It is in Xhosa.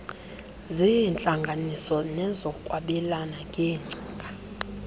zeentlanganiso nezokwabelana ngeengcinga